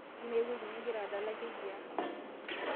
amaa ewueji nigira adala kejiaa